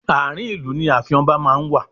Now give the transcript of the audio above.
Ààrin ìlú ni ààfin ọba máa ń wà.